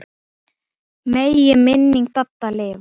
Megi minning Dadda lifa.